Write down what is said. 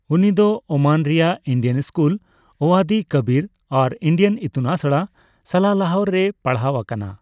ᱩᱱᱤᱫᱚ ᱳᱢᱟᱱ ᱨᱮᱭᱟᱜ Indian school Wadi Kabir ᱟᱨ ᱤᱱᱰᱤᱭᱟᱱ ᱤᱛᱩᱱ ᱟᱥᱲᱟ , ᱥᱟᱞᱟᱞᱟᱦᱚ ᱨᱮᱭ ᱯᱟᱲᱦᱟᱣ ᱟᱠᱟᱱᱟ ᱾